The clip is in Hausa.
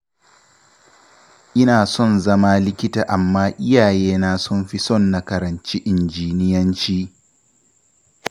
Ina son zama likita amma iyayena sun fi son na karanci injiniyanci